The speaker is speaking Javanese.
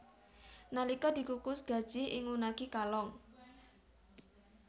Nalika dikukus gajih ing unagi kalong